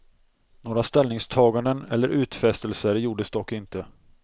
Några ställningstaganden eller utfästelser gjordes dock inte.